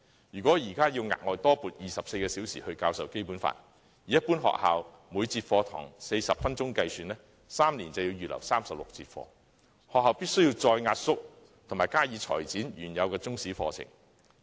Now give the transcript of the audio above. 如果現在要額外多撥24小時教授《基本法》，以一般學校每節課堂40分鐘計算 ，3 年便要預留36節課堂，學校必須再壓縮及裁剪原有的中史課程。